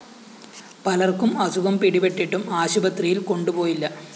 പലര്‍ക്കും അസുഖം പിടിപെട്ടിട്ടും ആശുപത്രിയില്‍ കൊണ്ടുപോയില്ല